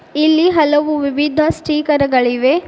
ಇಲ್ಲಿ ಹಲವು ವಿವಿಧ ಸ್ಟಿಕರ್ ಗಳಿವೆ.